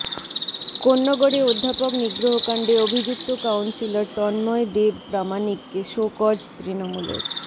কোন্নগরে অধ্যাপক নিগ্রহকাণ্ডে অভিযুক্ত কাউন্সিলর তন্ময় দেব প্রামাণিককে শোকজ তৃণমূলের